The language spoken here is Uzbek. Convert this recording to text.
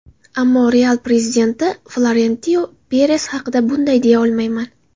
Ammo ‘Real’ prezidenti Florentino Peres haqida bunday deya olmayman.